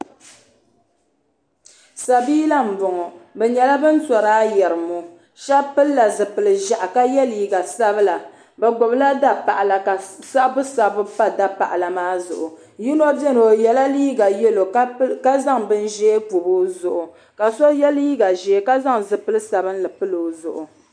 Sabiila m boŋɔ be nyala ban torila ayirimo shɛba pilli la zupili ʒahi ka yɛ liiga sabila be gbibla dapaɣala ka sabbu sabbu pa dapaɣla maa zuɣu yino bɛni o yɛ la liiga yalo ka zaŋ bin ʒɛɛ pobbi o zuɣu ka so yɛ liiga ʒɛɛ ka zaŋ zuɣpil sabinli pili o zuɣu